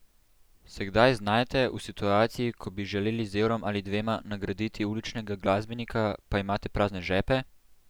Se kdaj znajdete v situaciji, ko bi želeli z evrom ali dvema nagraditi uličnega glasbenika, pa imate prazne žepe?